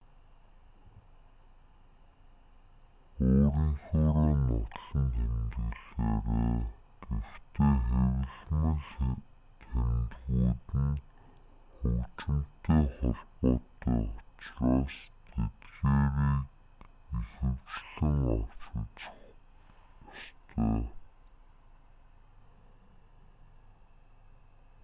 өөрийнхөөрөө нотлон тэмдэглээрэй гэхдээ хэвлэмэл тэмдгүүд нь хөгжимтэй холбоотой учраас тэдгээрийг ихэвчлэн авч үзэх ёстой